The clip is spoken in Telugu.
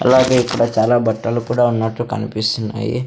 అలాగే ఇక్కడ చాలా బట్టలు కూడా ఉన్నట్లు కన్పిస్తున్నాయి.